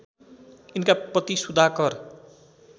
यिनका पति सुधाकर